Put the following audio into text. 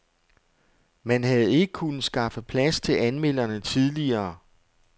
Man havde ikke kunnet skaffe plads til anmelderne tidligere.